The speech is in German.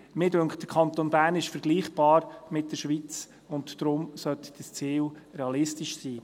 Mir scheint, der Kanton Bern ist vergleichbar mit der Schweiz, und darum sollte dieses Ziel realistisch sein.